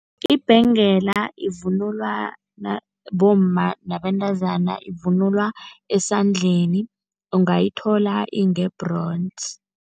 Ibhengela ivunulwa bomma nabentazana, ivunulwa esandleni. Ungayithola inge-bronze.